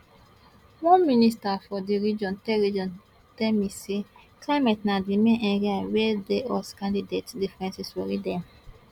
one minister from di region tell region tell me say climate na di main area wia di us candidates differences worry dem